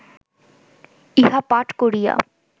ইহা পাঠ করিয়া